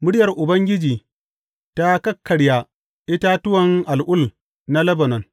Muryar Ubangiji ta kakkarya itatuwan al’ul na Lebanon.